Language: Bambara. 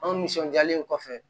Anw nisɔndiyalen kɔfɛ